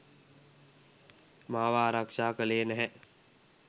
මාව ආරක්ෂා කළේ නැහැ.